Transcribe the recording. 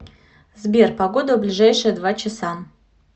сбер погода в ближайшие два часа